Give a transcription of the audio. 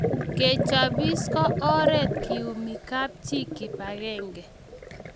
Kechopis ko oret keiumi kapchi kipakenge